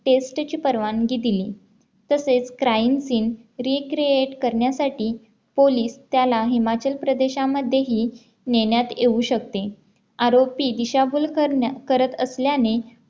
test ची परवानगी दिली तसेच Crime scene recreate करण्यासाठी पोलीस त्याला हिमाचल प्रदेशांमध्येही नेण्यात येऊ शकते आरोपी दिशाभूल करत असल्याने